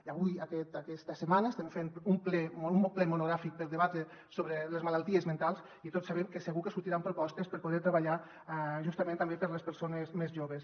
i avui aquesta setmana estem fent un ple monogràfic per debatre sobre les malalties mentals i tots sabem que segur que sortiran propostes per poder treballar justament també per a les persones més joves